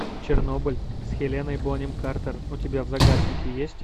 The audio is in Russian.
чернобыль с хеленой бонем картер у тебя в загашнике есть